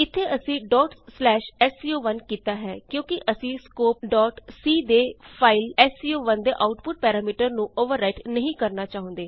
ਇਥੇ ਅਸੀਂ sco1 ਕੀਤਾ ਹੈ ਕਿਉਂਕਿ ਅਸੀਂ ਸਕੋਪ c ਦੇ ਫਾਈਲ ਦੇ ਆਉਟਪੁਟ ਪੈਰਾਮੀਟਰ ਨੂੰ ਅੋਵਰ ਰਾਈਟ ਨਹੀਂ ਕਰਨਾ ਚਾਹੁੰਦੇ